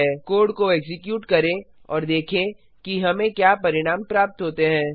code को execute करें और देखें कि हमें क्या परिणाम प्राप्त होते हैं